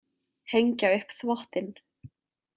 Hengja upp þvottinn.